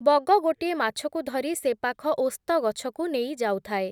ବଗ ଗୋଟିଏ ମାଛକୁ ଧରି ସେପାଖ ଓସ୍ତଗଛକୁ ନେଇଯାଉଥାଏ ।